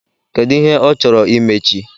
Kedu ihe ọ chọrọ imechi?